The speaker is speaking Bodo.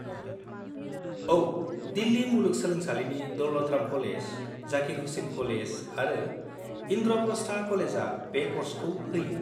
औ, दिल्लि मुलुग सोलोंसालिनि दौलत राम कलेज, जाकिर हुसेन कलेज आरो इनद्र'प्रस्थ कलेजा बे क'र्सखौ होयो।